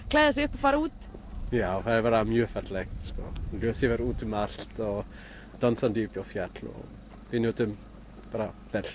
klæða sig upp og fara út já það er bara mjög fallegt ljósið úti um allt dansandi uppi á fjalli og við njótum vel